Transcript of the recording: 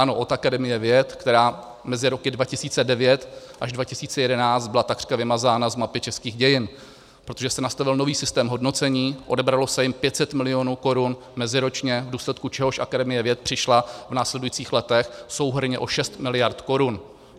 Ano, od Akademie věd, která mezi roky 2009 až 2011 byla takřka vymazána z mapy českých dějin, protože se nastavil nový systém hodnocení, odebralo se jim 500 milionů korun meziročně, v důsledku čehož Akademie věd přišla v následujících letech souhrnně o 6 miliard korun.